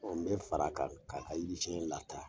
Ɔn n be fara a kan ka ka yiri siɲɛ lataa .